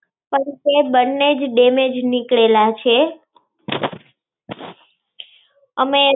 પણ તે બન્નેજ damage નીકળેલા છે. અમે